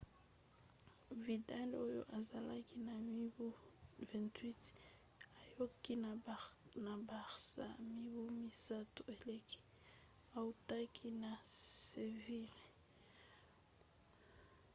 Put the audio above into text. vidal oyo azalaki na mibu 28 ayaki na barça mibu misato eleki autaki na seville